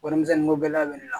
Warimisɛnninko gɛlɛya bɛ ne la